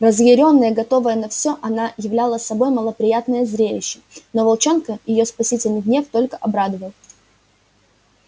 разъярённая готовая на все она являла собой малоприятное зрелище но волчонка её спасительный гнев только обрадовал